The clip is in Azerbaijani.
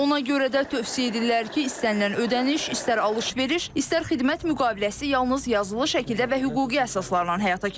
Ona görə də tövsiyə edirlər ki, istənilən ödəniş, istər alış-veriş, istər xidmət müqaviləsi yalnız yazılı şəkildə və hüquqi əsaslarla həyata keçirilsin.